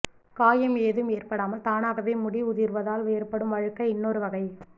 காயம் ஏதும் ஏற்படாமல் தானாகவே முடி உதிர்வதால் ஏற்படும் வழுக்கை இன்னொரு வகை